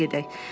Evə gedək.